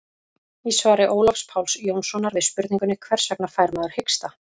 í svari ólafs páls jónssonar við spurningunni hvers vegna fær maður hiksta